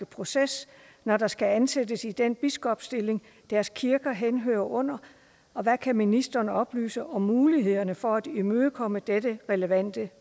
proces når der skal ansættes i den biskopstilling deres kirker henhører under og hvad kan ministeren oplyse om mulighederne for at imødekomme dette relevante